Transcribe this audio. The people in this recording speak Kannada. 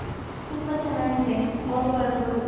ತುಂಬಾ ಚೆನ್ನಾಗಿದೆ ಹೋಗ್ಬರ್ಬೌದು .